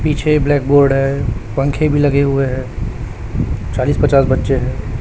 पीछे black board है पंखे भी लगे हुए हैं चालीस पचास बच्चे हैं।